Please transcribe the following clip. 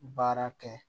Baara kɛ